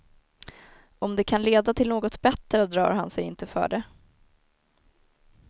Om det kan leda till något bättre drar han sig inte för det.